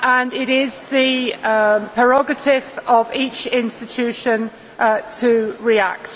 It is the prerogative of each institution to react.